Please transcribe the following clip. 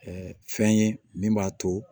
fɛn ye min b'a to